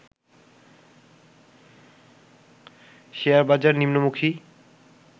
শেয়ারবাজার নিম্নমুখী